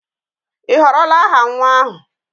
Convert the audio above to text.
Ị họrọla aha nwa ahụ?